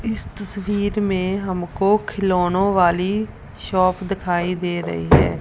इस तस्वीर में हमको खिलौने वाली शॉप दिखाई दे रही है।